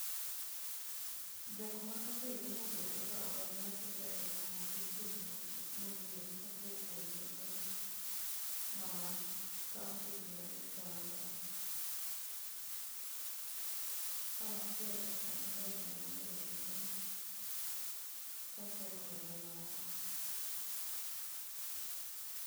Jokma oseidho mobedo kaka ogai mar siasa e boma wa gin jokma odhuro ka achiel kuom gi en kaka mama kaunti Gladys Wanga, machielo en Raila Amolo Odinga kachiel kod mamoko